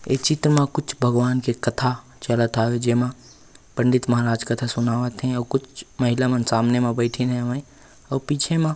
ऐ चित्र म कुछ भगवन के कथा चलत हवे जेमा पंडित महाराज कथा सुनावत हे अऊ कुछ महिला मन सामने में बईथे हवय अऊ पीछे म--